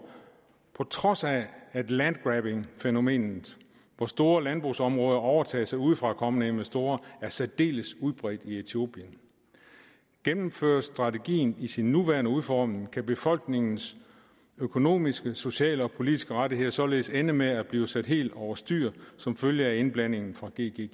på trods af at land grabbing fænomenet hvor store landbrugsområder overtages af udefrakommende investorer er særdeles udbredt i etiopien gennemføres strategien i sin nuværende udformning kan befolkningens økonomiske sociale og politiske rettigheder således ende med at blive sat helt over styr som følge af indblanding fra gggi